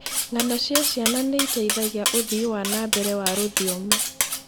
Ng'ano cia ciana nĩ iteithagia ũthii wa na mbere wa rũthiomi.